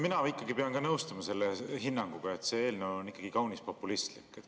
Mina ikkagi pean ka nõustuma hinnanguga, et see eelnõu on kaunis populistlik.